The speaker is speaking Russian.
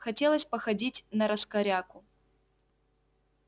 хотелось походить нараскоряку